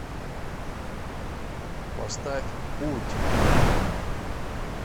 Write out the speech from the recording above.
поставь путь